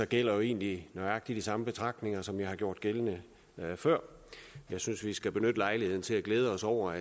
gælder jo egentlig nøjagtig de samme betragtninger som jeg har gjort gældende før jeg synes vi skal benytte lejligheden til at glæde os over